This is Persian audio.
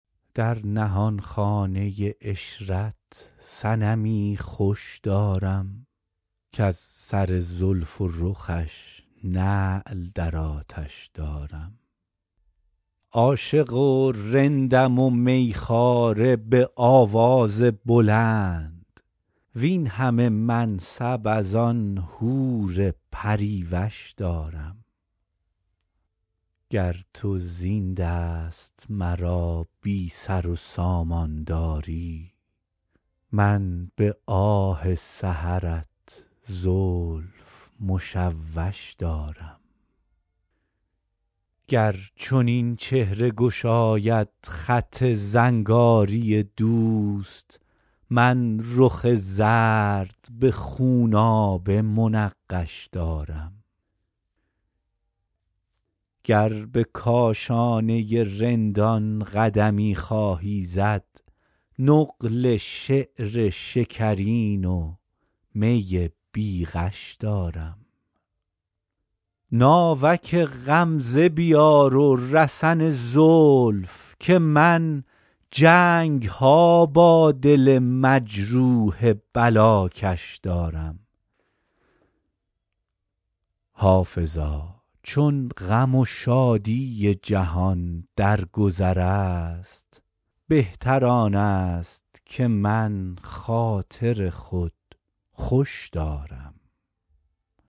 در نهانخانه عشرت صنمی خوش دارم کز سر زلف و رخش نعل در آتش دارم عاشق و رندم و می خواره به آواز بلند وین همه منصب از آن حور پری وش دارم گر تو زین دست مرا بی سر و سامان داری من به آه سحرت زلف مشوش دارم گر چنین چهره گشاید خط زنگاری دوست من رخ زرد به خونابه منقش دارم گر به کاشانه رندان قدمی خواهی زد نقل شعر شکرین و می بی غش دارم ناوک غمزه بیار و رسن زلف که من جنگ ها با دل مجروح بلاکش دارم حافظا چون غم و شادی جهان در گذر است بهتر آن است که من خاطر خود خوش دارم